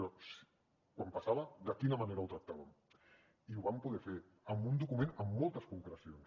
però quan passava de quina manera ho tractaven i ho vam poder fer amb un document amb moltes concrecions